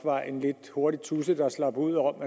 var en lidt hurtig tudse der slap ud og